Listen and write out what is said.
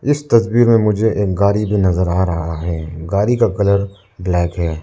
इस तस्वीर में मुझे एक गाड़ी भी नजर आ रहा है गाड़ी का कलर ब्लैक है।